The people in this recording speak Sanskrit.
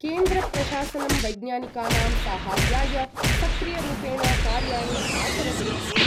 केन्द्रप्रशासनं वैज्ञानिकानां साहाय्याय सक्रियरूपेण कार्याणि आचरति इति।